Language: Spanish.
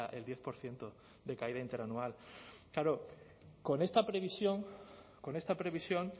el diez por ciento de caída interanual claro con esta previsión con esta previsión